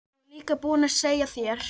Ég var líka búinn að segja þér.